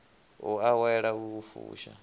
u awela u i fusha